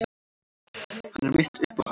Hann er mitt uppáhald.